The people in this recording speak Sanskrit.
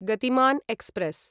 गतिमान् एक्स्प्रेस्